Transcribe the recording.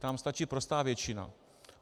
Tam stačí prostá většina.